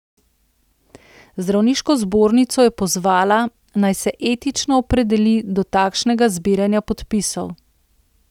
Zdravniško zbornico je pozvala, naj se etično opredeli do takšnega zbiranja podpisov.